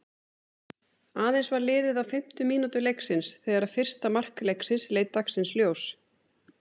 Aðeins var liðið á fimmtu mínútu leiksins þegar fyrsta mark leiksins leit dagsins ljós.